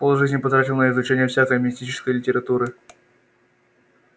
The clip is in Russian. полжизни потратил на изучение всякой мистической литературы